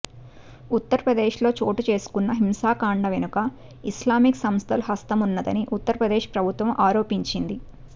ఉత్తరప్రదేశ్లో చోటుచేసుకున్న హింసాకాండ వెనుక ఇస్లామిక్ సంస్థల హస్తమున్నదని ఉత్తరప్రదేశ్ ప్రభుత్వం ఆరోపించింది